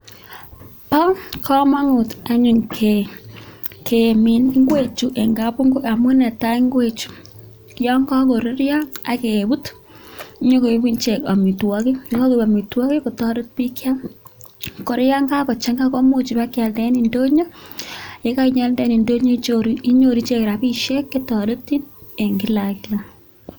Bo komunt anyun kemin ngwechu en kapungui amun netai ngwechu yon kagoruryo ak kebut konyokoigu ichek amitwogik. Ye kagoik amitwogik kotoret biik kyam. Kora yon kagochang'a koimuch kebkealda en ndonyo ye kainye alde en ndonyo inyoru ichek rabinishek che toretin en kila ak kila.